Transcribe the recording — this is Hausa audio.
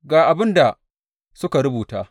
Ga abin da suka rubuta.